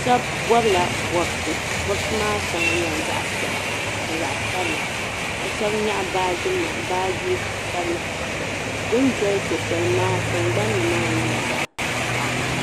Shɛba bɔbila bɔbisi bɔbisi maa shɛŋa nyɛla zaɣ' piɛla ni zaɣ' sabila ka shɛba nyaɣi baajinima baaji sabila. Bɛ ni doli so' shɛli maa tiŋgbani ni maa nyɛla zaɣ' taŋkpaɣu.